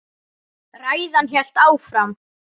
Ræðan hélt áfram: